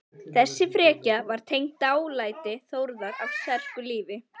Þessi frekja var tengd dálæti Þórðar á sterku lífi.